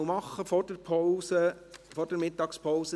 Antrag auf freie Debatte (Moser, Landiswil)